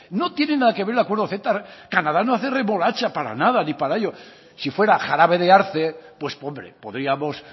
no tiene nada que ver el acuerdo ceta canadá no hace remolacha para nada ni para ello si fuera jarabe de arce pues hombre podríamos